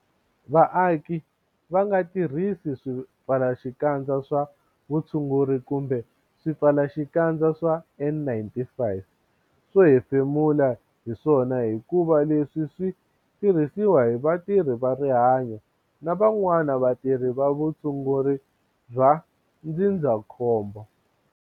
Vaaki va nga tirhisi swipfalaxikandza swa vutshunguri kumbe swi-pfalaxikandza swa N-95 swo hefemula hi swona hikuva leswi swi tirhisiwa hi vatirhi va rihanyo na van'wana vatirhi va vu-tshunguri bya ndzindza-khombo'